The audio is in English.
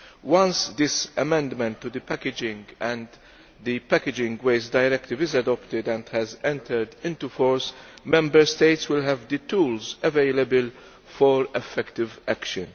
Once this amendment to the Packaging and Packaging Waste Directive is adopted and has entered into force, Member States will have the tools available for effective action.